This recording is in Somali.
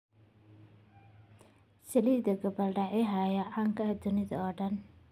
Saliidda gabbaldayaha ayaa caan ka ah adduunka oo dhan.